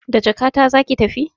Da jakata zaki tafi?